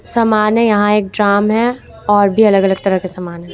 समाने यहां एक ड्रम हैं और भी अलग अलग तरह के सामान हैं।